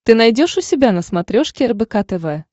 ты найдешь у себя на смотрешке рбк тв